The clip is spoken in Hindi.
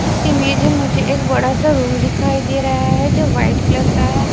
इसी में जो मुझे एक बड़ा सा रुम दिखाई दे रहा है जो व्हाइट कलर का है।